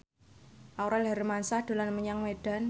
Aurel Hermansyah dolan menyang Medan